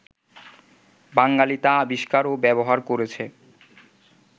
বাঙালি তা আবিষ্কার ও ব্যবহার করেছে